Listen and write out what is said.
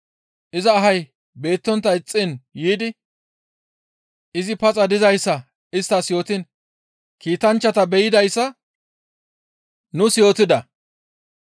iza ahay beettontta ixxiin yiidi izi paxa dizayssa isttas yootiin Kiitanchchata be7idayssa nuus yootida.